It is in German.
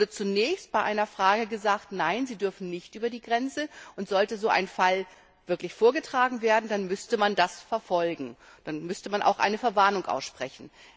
Es wurde zunächst bei einer Frage gesagt Nein, sie dürfen nicht über die Grenze. Und sollte so ein Fall vorgetragen werden, dann müsse man das verfolgen, dann müsse man auch eine Verwarnung aussprechen.